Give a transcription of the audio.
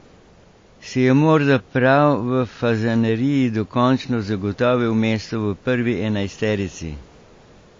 Si je morda prav v Fazaneriji dokončno zagotovil mesto v prvi enajsterici?